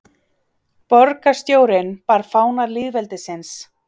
Borgarstjórinn bar fána lýðveldisins